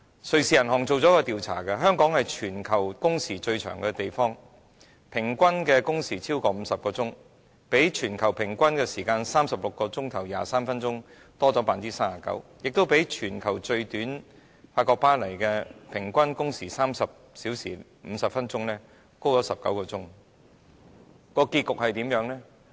瑞士銀行進行了一項調查，發現香港是全球工時最長的地方，平均工時超過50小時，比全球平均時間36小時23分鐘多了 39%， 亦比法國巴黎全球最短的平均工時30小時50分鐘多19小時。